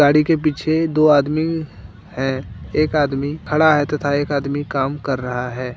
गाड़ी के पीछे दो आदमी है एक आदमी खड़ा है तथा एक आदमी काम कर रहा है।